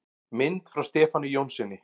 Mynd frá Stefáni Jónssyni.